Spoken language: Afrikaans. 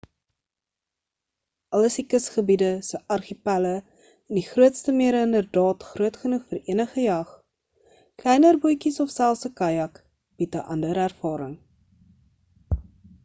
al is die kusgebiede se argipelle en die grootste mere inderdaad groot genoeg vir enige jag kleiner bootjies of selfs 'n kajak bied 'n ander ervaring